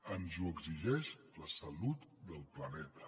ens ho exigeix la salut del planeta